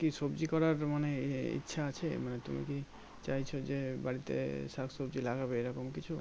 কি সবজি করার মানে এ এ ইচ্ছা আছে মানে তুমি কি চাইছো যে বাড়িতে শাক সবজি লাগবে এই রকম কিছু